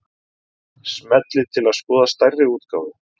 Smellið til að skoða stærri útgáfu